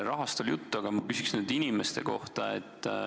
Rahast oli juttu, aga ma küsin nüüd inimeste kohta.